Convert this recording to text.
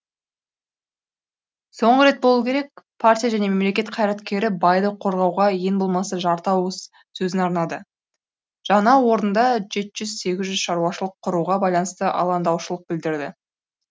соңғы рет болу керек партия және мемлекет қайраткері байды қорғауға ең болмаса жарты ауыз сөзін арнады жаңа орында жеті жүз сегіз жүз шаруашылық құруға байланысты алаңдаушылық білдірді